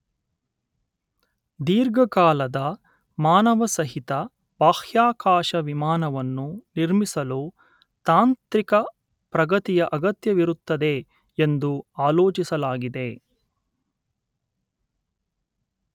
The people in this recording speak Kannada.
ದೀರ್ಘಕಾಲದ ಮಾನವಸಹಿತ ಬಾಹ್ಯಾಕಾಶ ವಿಮಾನವನ್ನು ನಿರ್ಮಿಸಲು ತಾಂತ್ರಿಕ ಪ್ರಗತಿಯ ಅಗತ್ಯವಿರುತ್ತದೆ ಎಂದು ಆಲೋಚಿಸಲಾಗಿದೆ